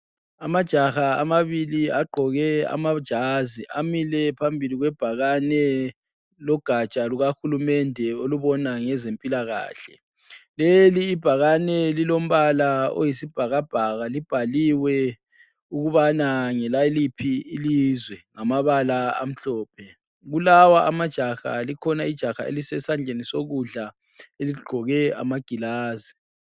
Amajaha amabili agqoke amajazi, amile phambili kwebhakane logaja lukahulumende olubona ngezempilakahle. Leli ibhakane lilombala oyisibhakabhaka libhaliwe ukubana ngelaliphi ilizwe ngamabala amhlophe. Kulawa amajaha likhona ijaha elisesandleni sokudla eligqoke amagilazi.